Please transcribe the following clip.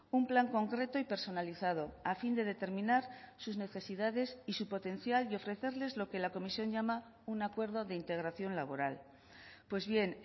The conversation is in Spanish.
un plan concreto y personalizado a fin de determinar sus necesidades y su potencial y ofrecerles lo que la comisión llama un acuerdo de integración laboral pues bien